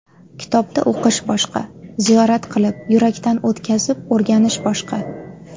Kitobda o‘qish boshqa, ziyorat qilib, yurakdan o‘tkazib o‘rganish boshqa.